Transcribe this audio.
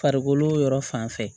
Farikolo yɔrɔ fan fɛ